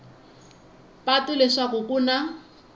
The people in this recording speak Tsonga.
patu leswaku ku na ku